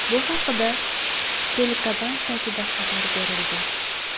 Bu haqda telekanal saytida xabar berilgan .